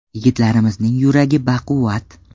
Yigitlarimizning yuragi baquvvat.